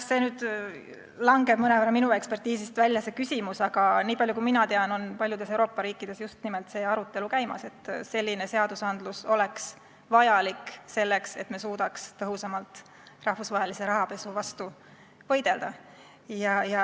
See küsimus jääb minu ekspertiisist mõnevõrra välja, aga niipalju kui ma tean, on paljudes Euroopa riikides käimas just nimelt see arutelu, et selline seadus oleks vajalik, selleks et suudetaks tõhusamalt rahvusvahelise rahapesu vastu võidelda.